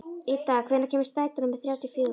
Idda, hvenær kemur strætó númer þrjátíu og fjögur?